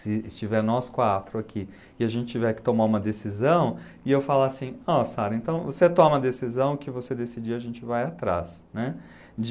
se estiver nós quatro aqui e a gente tiver que tomar uma decisão, e eu falar assim, ó Sarah, então você toma a decisão o que você decidir, a gente vai atrás, né, de